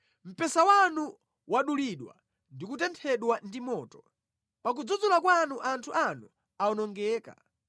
Mpesa wanu wadulidwa ndi kutenthedwa ndi moto; pakudzudzula kwanu anthu anu awonongeka.